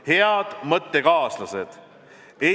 Head mõttekaaslased!